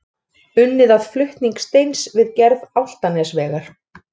Unnið að flutning steins við gerð Álftanesvegar.